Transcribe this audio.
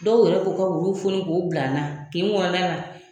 Dɔw yɛrɛ b'u ka wuluw foni k'o bila an na kin kɔnɔna na.